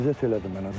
ləzzət elədi mənə.